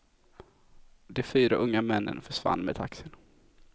De fyra unga männen försvann med taxin.